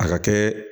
A ka kɛ